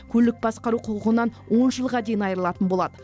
көлік басқару құқығынан он жылға дейін айырылатын болады